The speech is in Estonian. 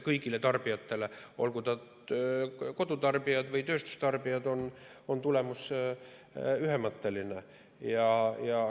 Kõigile tarbijatele, olgu nad kodutarbijad või tööstustarbijad, on tulemus ühemõtteline.